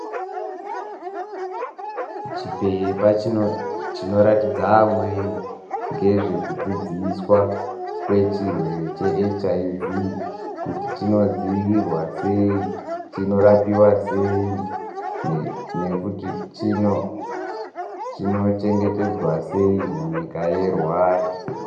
Chipepa chinoratidza amweni ngezvekudzidziswa kwechirwere cheHIV, kuti chinodzivirirwa seyi, chinorapiwa seyi, nekuti chino-chino chengetedzwa seyi, munyika yeRwanda.